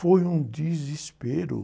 Foi um desespero.